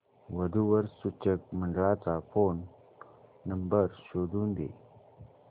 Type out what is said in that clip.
वधू वर सूचक मंडळाचा फोन नंबर शोधून दे